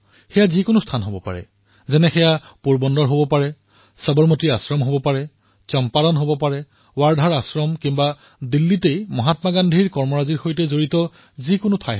এয়া যিকোনো স্থান হব পাৰে যেনে পোৰবন্দৰ সবৰমতী আশ্ৰম চম্পাৰণ ৱাৰ্ধাৰ আশ্ৰম আৰু দিল্লীত মহাত্মা গান্ধীৰ সৈতে জড়িত যিকোনো স্থান